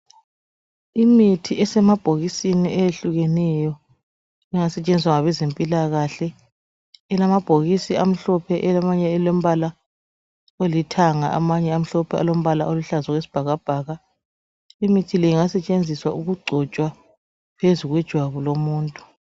imithi esemabhokisini eyehlukeneyo engasetshenziswa ngabezempilakahle elamabhokisi amhlophe elamanye alomblala olithanga amanye amhlophe okuluhlaza okwesibhakabhaka imithi ingasetshenziswa ukugcotshwa phezu kwejwabu lomuntu